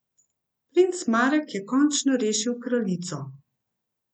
Princ Marek je končno rešil kraljico.